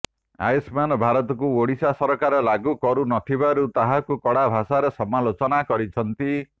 ଆୟୁଷ୍ମାନ୍ ଭାରତକୁ ଓଡ଼ିଶା ସରକାର ଲାଗୁ କରୁ ନ ଥିବାରୁ ତାହାକୁ କଡ଼ା ଭାଷାରେ ସମାଲୋଚନା କରିଛନ୍ତି